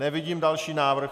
Nevidím další návrh.